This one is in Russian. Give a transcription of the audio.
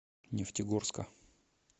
нефтегорска